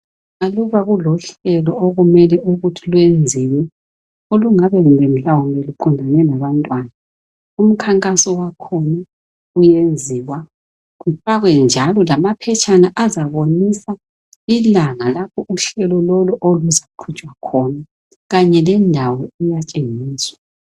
Aluba kulohlelo olumele ukuthi luyenziwe olungabe kumbe mhlawumbe luqondane labantwana umkhankaso wakhona uyenziwa, kufakwe njalo lamaphetshana azabonisa ilanga lapho uhlelo lolu oluzaqhutshwa khona kanye lendawo iyatshengiswa.